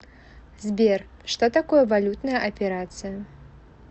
сбер что такое валютная операция